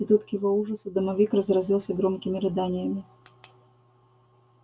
и тут к его ужасу домовик разразился громкими рыданиями